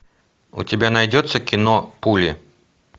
у тебя найдется кино пули